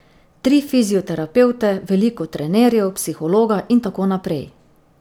Tri fizioterapevte, veliko trenerjev, psihologa in tako naprej.